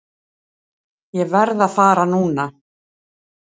Ég verð að fara núna!